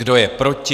Kdo je proti?